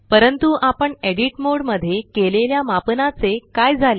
परंतु आपण edit mode मध्ये केलेल्या मापनाचे काय झाले